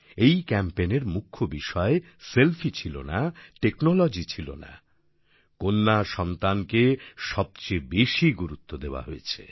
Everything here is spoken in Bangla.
এই ক্যাম্পেইন এর মূখ্য বিষয় সেলফি ছিল না টেকনোলজি ছিলোনা কন্যাসন্তানকে সবচেয়ে বেশী গুরুত্ব দেওয়া হয়েছে